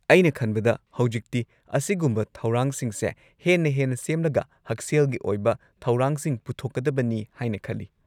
ꯑꯩꯅ ꯈꯟꯕꯗ ꯍꯧꯖꯤꯛꯇꯤ ꯑꯁꯤꯒꯨꯝꯕ ꯊꯧꯔꯥꯡꯁꯤꯡꯁꯦ ꯍꯦꯟꯅ ꯍꯦꯟꯅ ꯁꯦꯝꯂꯒ ꯍꯛꯁꯦꯜꯒꯤ ꯑꯣꯏꯕ ꯊꯧꯔꯥꯡꯁꯤꯡ ꯄꯨꯊꯣꯛꯀꯗꯕꯅꯤ ꯍꯥꯏꯅ ꯈꯜꯂꯤ꯫